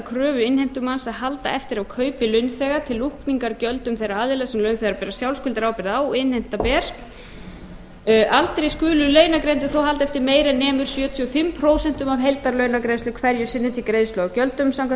kröfu innheimtumanns að halda eftir af kaupi launþega til lúkningar gjöldum þeirra aðila sem launþegar bera sjálfskuldarábyrgð á og innheimta ber aldrei skulu launagreiðendur þó halda eftir meiru en nemur sjötíu og fimm prósent af heildarlaunagreiðslu hverju sinni til greiðslu á gjöldum samkvæmt